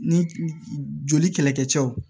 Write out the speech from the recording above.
Ni joli kɛlɛkɛcɛw